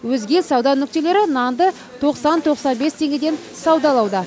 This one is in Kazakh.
өзге сауда нүктелері нанды тоқсан тоқсан бес теңгеден саудалауда